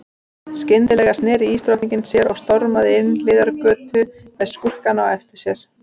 Skyndilega sneri ísdrottningin sér og stormaði inn hliðargötu með skúrkana á eftir sér.